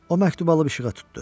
O məktubu alıb işığa tutdu.